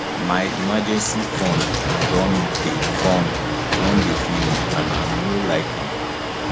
my emergency fund don dey fund don dey finish and i no like am